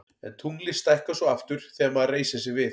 en tunglið stækkar svo aftur þegar maður reisir sig við